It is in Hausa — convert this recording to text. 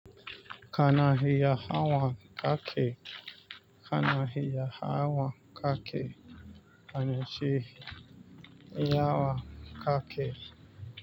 Kana hiya hawan kake, kana hiya hawan kake, anyi shi iya hawan kake.